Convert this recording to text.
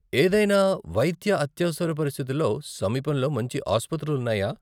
ఏదైనా వైద్య అత్యవసర పరిస్థితుల్లో, సమీపంలో మంచి ఆసుపత్రులు ఉన్నాయా?